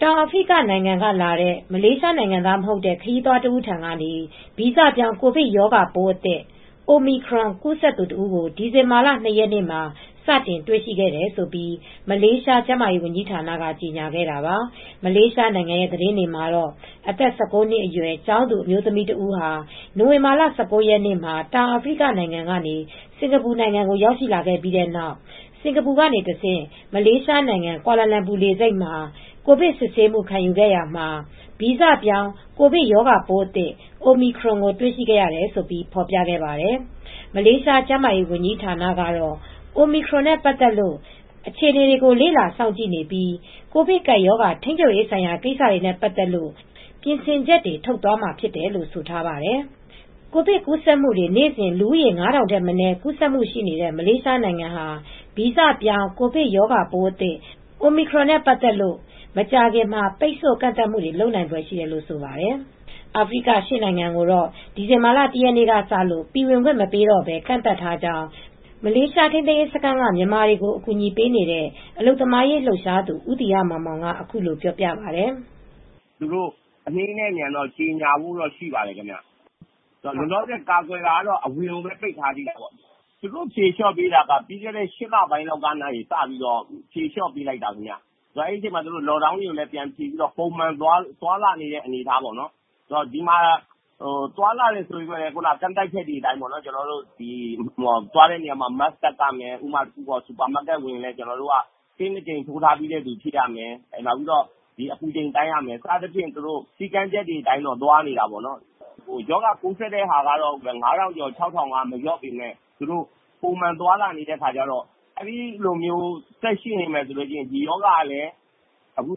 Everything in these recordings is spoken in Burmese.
တောင်ဖရိကနိုင်ငံက လာတဲ့ မလေးရှားနိုင်ငံသားမဟုတ်တဲ့ခရီးသွားတဦးထံကနေ ဗီဇပြောင်းကိုဗစ်ရောဂါပိုးအသစ် Omicronကူးစက်သူတဦးကို ဒီဇင်ဘာလ၂ ရက်နေ့မှာစတင်တွေ့ရှိခဲ့တယ်လို့ မလေးရှား ကျန်းမာရေးဝန်ကြီးဌာနက ကြေငြာခဲ့တာပါ ။ မလေးရှားနိုင်ငံရဲ့သတင်းတွေမှာတော့ အသက် ၁၉ နှစ်အရွယ် ကျောင်းသူ အမျိုး သမီး တစ်ဦးဟာနိုဝင်ဘာလ ၁၉ ရက်နေ့မှာ တောင်အာဖရိကကနေ စင်္ကာပူကို ရောက်ရှိလာခဲ့ပြီးနောက် စင်္ကာပူကတဆင့် မလေးရှားနိုင်ငံကွာလာလမ်ပူ လေဆိပ်မှာ ကိုဗစ်စစ်ဆေးခံယူခဲ့ရာမှာ ဗီဇပြောင်းကိုဗစ်ရောဂါပိုးအသစ် Omicron ကို တွေရှိခဲ့ရတယ်လို့ဖော်ပြခဲ့ပါတယ် မလေးရှားကျန်းမာရေးဝန်ကြီးဌာနကတော့ Omicron နဲ့ပတ်သက်လို့အခြေအနေတွေကိုလေ့လာစောင့်ကြည့်နေပြီး ကိုဗစ်ကပ်ရောဂါထိမ်းချုပ်ရေးဆိုင်ရာကိစ္စတွေနဲ့ပတ်သက်လို့ပြင်ဆင်ချက်တွေထုတ်သွားမှာဖြစ်တယ်လို့ဆိုထားပါတယ်။ ကိုဗစ်ကူးစက်မူတွေနေစဉ် လူဦးရေ ၅ထောင်ထက်မနည်းကူးစက်မူ့ရှိနေတဲ့ မလေးရှားနိုင်ငံဟာ ဗီဇပြောင်းကိုဗစ်ရောဂါပိုးအသစ် Omicron နဲ့ပတ်သက်လို့ မကြာခင်မှာ ပိတ်ဆို့ကန့်သတ်မူတွေလုပ်နိုင်ဖွယ်ရှိတယ်လို့ဆိုပါတယ် အာဖရိက ၈နိုင်ငံကိုတော့ ဒီဇင်ဘာလ၁ရက်နေ့ကစလို့ပြည်ဝင်ခွင့်မပေးတော့ပဲကန့်သတ်ထားကြောင်းမလေးရှား ထိမ်းသိမ်းရေးစခန်းကမြန်မာတွေကိုအကူညီပေးနေတဲ့အလုပ်သမားရေးလှုပ်ရှားသူဦးသီဟမောင်မောင်ကအခုလိုပြောပြပါတယ် "သူတို့အနှေးနဲ့အမြန်ကြေငြာဖို့တော့ရှိပါတယ်ခင်ဗျ ။လောလောဆည်ပိတ်ထားတာက အဝင်ကိုပဲပိတ်ထားသေးတယ် ။ဖြေလျော့ပေးတာကပြီးခဲ့တဲ့ ၈လပိုင်းလောက်မှ ဖြေလျော့ပေးတာအဲဒီတုန်းက တော့ Lock down တွေကိုဖြေပေးပြီးပုံမှန်သွားလာခွင့်တွေပေးတယ်။ သွားလာတယ်ဆိုပေမယ့်လည်းကန့်သတ်ချက်တွေအတိုင်း သွားတဲ့အခါ Mask တပ်ရမယ် စူပါမတ်ကက်ကိုဝင်ရင် ဆေး ၂ကြိမ်ထိုးပြီးသားဖြစ်ရမယ်။အပူချိန်တိုင်းရမယ် စည်းကမ်းချက်အတိုင်းတော့ဖြစ်ရမယ်ပေါ့ရောဂါကူးစက်တာက ၅ထောင်ကျော် ၆ထောင်ကတော့မလျော့ပေမယ်ပုံမှန် သွားလာနေတဲ့အတွက် အဲဒီလိုဆက်ရှိနေမယ် ဒီရောဂါက ကူး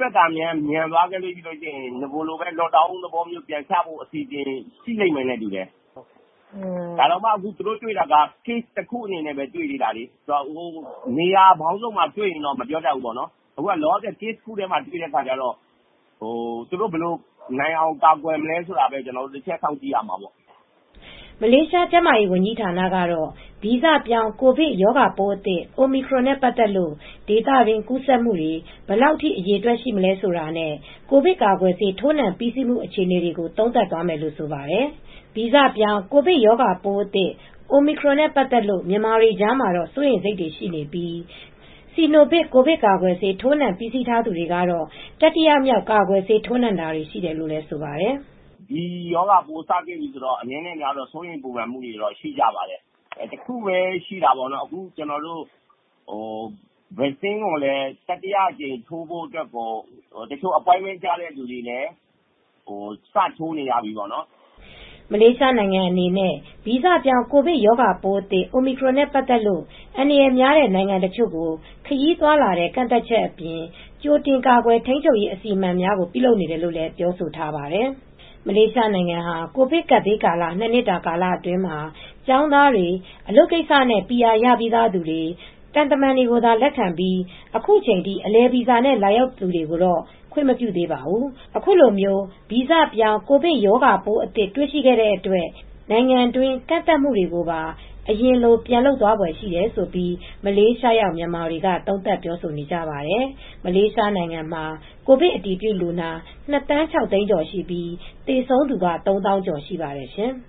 စက်တာမြန်မယ်ဆိုရင် အရင်လို့ တော့ Lock downပြန်ချဖိုအစီစဉ်ရှိလိမ့်မယ်ထင်တယ်။ဒါတောင် Case တခုအနေနဲ့တွေ့သေးတာလေ။ နေရာပေါင်းစုံမှာတွေ့ရင်တော့မပြောတတ်ဘူး။နေရာပေါင်းစုံမှာတွေ့ရင်တော့သူတို့ ဒီရောဂါကိုနိုင်အောင်ဘယ်လိုကိုင်တွယ်မလဲဆိုတာစောင့်ကြည့်ရတာပေါ့။" မလေးရှားကျန်းမာရေးဝန်ကြီးဌာနကတော့ ဗီဇပြောင်းကိုဗစ်ရောဂါပိုးအသစ် Omicronနဲ့ပတ်သက်လို့ ဒေသတွင်းကူးစက်မှုတွေဘယ် လောက်ထိအရေအတွက်ရှိမလဲဆိုတာနဲ့ ကိုဗစ်ကာကွယ်ဆေးထိုးနှံပြီးစီးမူ့အခြေအနေတွေကိုသုံးသပ်သွားမယ်လို့ ဆိုပါတယ် ဗီဇပြောင်းကိုဗစ်ရောဂါပိုးအသစ် Omicronနဲ့ပတ်သက်လို့မြန်မာတွေကြားမှာ တော့စိုးရိမ်စိတ်တွေရှိပြီး စီနိုဗစ်ကိုဗစ်ကာကွယ်ဆေးထိုးနှံထားသူတွေကတော့ တတိယမြောက်ကာကွယ်ဆေးထိုးနှံတာတွေရှိတယ်လို့ဆိုပါတယ်။ "ဒီရောဂါပိုးစတွေ့ပြီဆိုတော့အနည်းနဲ့အများစိုးရိမ်ပူပန်မူတွေတော့ရှိကြပါတယ်။ တခုပဲ အခု ကာကွယ်ဆေးကိုလည်းတတိယအကြိမ်ထိုးဖို့ တချို့ appointment ကျတဲ့သူတွေလည်းစတော့ထိုးနေရပြီ" မလေးရှားနိုင်ငံအနေနဲ့ု ဗီဇပြောင်းကိုဗစ်ရောဂါပိုးအသစ် Omicronနဲ့ပတ်သက်လို့ အန္တရာယ်များတဲ့ နိုင်ငံအချို့ကိုခရီးသွားလာတဲ့ကန့်သတ်ချက်တွေ အပြင် ကြိုတင်ကာကွယ်ထိမ်းချုပ်ရေးအစီအမံများကိုပြုလုပ်နေတယ်လို့လည်းပြောဆိုထားပါတယ်။ မလေးရှားနိုင်ငံဟာ ကိုဗစ်ကပ်ဘေးကာလ ၂ နှစ်တာအတွင်းမှာ ကျောင်းသားတွေ အလုပ်ကိစ္စတွေနဲ့ PR ရပြီးသား သူတွေ သံတမန်တွေကိုသာလက်ခံပြီးအခုချိန်ထိအလည်ဗီဇာနဲ့လာရောက်တာတွေကိုတော့ခွင့်မပြုသေးပါဘူး။ အခုလို ဗီဇပြောင်းကိုဗစ်ရောဂါပိုးအသစ်တွေ့ရှိခဲ့အတွက် နိုင်ငံတွင်းကန့်သတ်မူတွေကိုပါအရင်လိုပြန်လုပ်သွားဖွယ်ရှိတယ်လို့မလေးရှားရောက်မြန်မာတွေက သုံးသပ်ပြောဆိုကြပါတယ်မလေးရှားနိုင်ငံမှာကိုဗစ်အတည်ပြုလူနာ ၂သန်း ၆သိန်းကျော်ရှိပြီးသေဆုံးသူက သုံးသောင်းကျော်ရှိပါတယ်ရှင်။